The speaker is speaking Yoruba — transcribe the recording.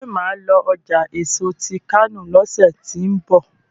ṣe má lọ ọjà èso tí kano lọsẹ tí n bọ?